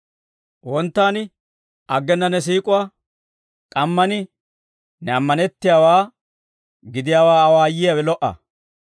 Wonttan aggena ne siik'uwaa, k'amman ne ammanettiyaawaa gidiyaawaa awaayiyaawe lo"a.